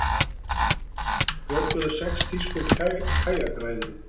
Björguðu sex þýskum kajakræðurum